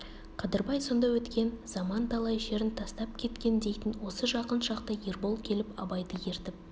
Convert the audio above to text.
қадырбай сонда өткен заман талай шерін тастап кеткен дейтін осы жақын шақта ербол келіп абайды ертіп